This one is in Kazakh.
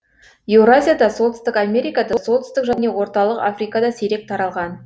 еуразияда солтүстік америкада солтүстік және орталық африкада сирек таралған